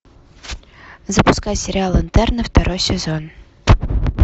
запускай сериал интерны второй сезон